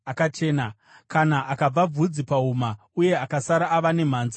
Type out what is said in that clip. Kana akabva bvudzi pahuma uye akasara ava nemhanza, akachena.